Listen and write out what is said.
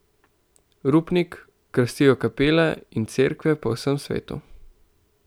Rupnik, krasijo kapele in cerkve po vsem svetu.